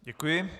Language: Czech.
Děkuji.